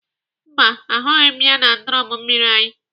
Mba, ahụghị m ya na drọn mmiri anyị.